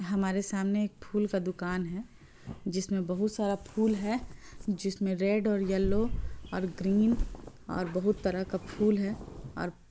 हमारे सामने एक फूल का दुकान है जिसमें बहुत सारा फूल है जिसमें रेड और येलो और ग्रीन और बहुत तरा का फूल है और --